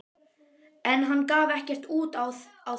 En hann gaf ekkert út á það.